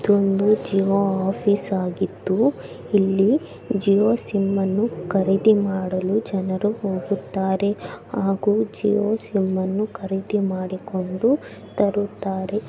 ಇದೊಂದು ಜಿಯೋ ಆಫೀಸ್‌ ಆಗಿದ್ದು ಇಲ್ಲಿ ಜಿಯೋ ಸಿಮ್‌ ಅನ್ನು ಖರೀದಿ ಮಾಡಲು ಜನರು ಹೋಗುತ್ತಾರೆ ಹಾಗೂ ಜಿಯೋ ಸಿಮ್‌ ಅನ್ನು ಖರೀದಿ ಮಾಡಿಕೊಂಡು ತರುತ್ತಾರೆ.